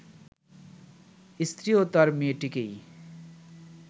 স্ত্রীও তার মেয়েটিকেই